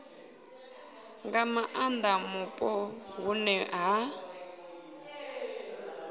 nga maanda mupo hune ha